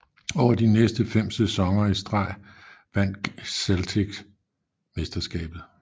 Over de næste 5 sæsoner i streg vandt Celtics mesterskabet